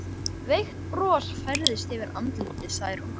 Veikt bros færðist yfir andlit Særúnar.